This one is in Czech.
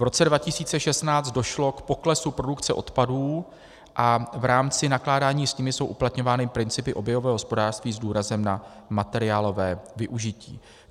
V roce 2016 došlo k poklesu produkce odpadů a v rámci nakládání s nimi jsou uplatňovány principy oběhového hospodářství s důrazem na materiálové využití.